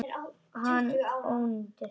Hann ónýtir.